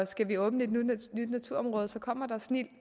skal vi åbne et nyt naturområde så kommer der snildt